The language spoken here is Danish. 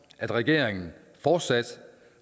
at regeringen fortsat